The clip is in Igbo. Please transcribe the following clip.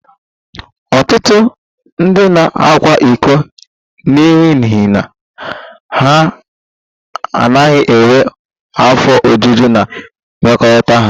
Ọtụtụ ndị na-akwa iko n'ihi na ha anaghị enwe afọ ojuju na mmekọrịta ha